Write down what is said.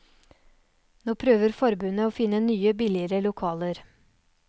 Nå prøver forbundet å finne nye, billigere lokaler.